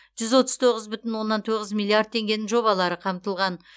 жүз отыз тоғыз бүтін оннан тоғыз миллиард теңгенің жобалары қамтылған